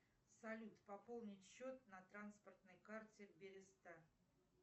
салют пополнить счет на транспортной карте береста